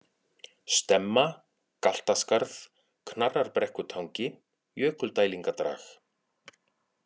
Stemma, Galtaskarð, Knarrarbrekkutangi, Jökuldælingadrag